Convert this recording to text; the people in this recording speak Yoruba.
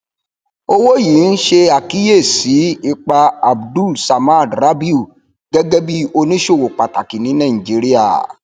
owó yìí um ṣe àkíyèsí ipa abdul samad rabiu gẹgẹ bí oníṣòwò pàtàkì ní nàìjíríà